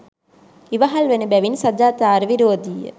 ඉවහල් වන බැවින් සදාචාර විරෝධීය.